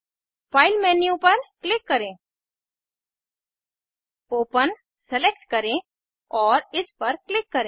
file menu पर click करें open select करें और इस पर क्लिक करें